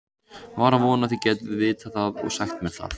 Var að vona þið gætuð vitað það og sagt mér það.